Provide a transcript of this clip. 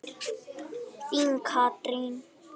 Þín, Katrín.